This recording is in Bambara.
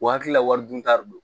O hakilila wari dun ta de don